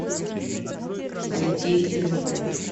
алексей чернышов